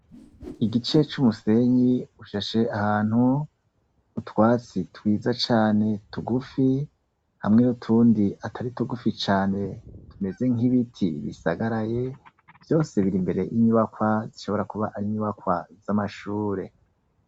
Igice c'umusenyi ushashe ahantu utwatsi twiza cane tugufi hamwe nutundi atari tugufi cane tumeze nk'ibiti bisagaraye vyose biri imbere inyubakwa zishobora kuba ari inyubakwa z'amashure.